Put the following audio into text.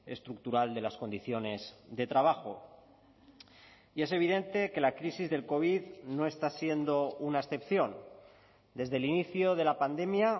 estructural de las condiciones de trabajo y es evidente que la crisis del covid no está siendo una excepción desde el inicio de la pandemia